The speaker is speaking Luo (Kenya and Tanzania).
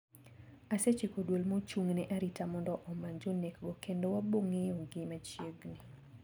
Asechiko duol mochung`ne arita mondo omany jonekgo kendo wabong`eyogi machiegni.